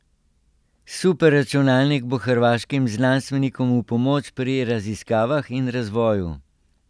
Superračunalnik bo hrvaškim znanstvenikom v pomoč pri raziskavah in razvoju.